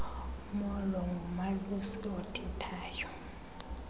molo ngumalusi othethayo